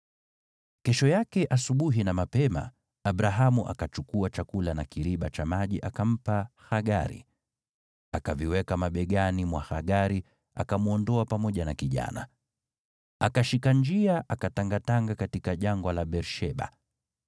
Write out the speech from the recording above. Kesho yake asubuhi na mapema, Abrahamu akachukua chakula na kiriba cha maji, akampa Hagari. Akaviweka mabegani mwa Hagari, akamwondoa pamoja na kijana. Hagari akashika njia, akatangatanga katika jangwa la Beer-Sheba.